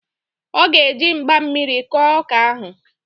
Ọ ga-eji mgba mmiri kọọ ọka ahụ